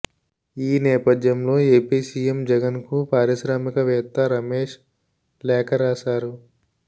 ఈ నేపథ్యంలో AP CM జగన్కు పారిశ్రామికవేత్త రమేష్ లేఖ రాశారు